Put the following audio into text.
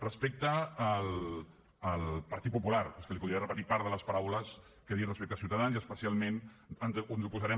respecte al partit popular és que li podria repetir part de les paraules que he dit respecte a ciutadans i especialment ens oposarem